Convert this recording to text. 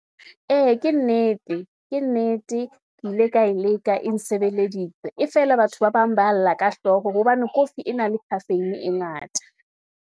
Ee, ke nnete, ke nnete ke ile ka e leka e nsebeleditse, e feela batho ba bang ba lla ka hlooho, hobane kofi e na le caffeine e ngata.